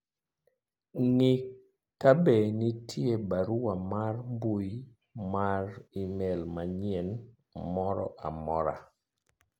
ng'i kabe nitie barua mar mbui mar email manyien moro amora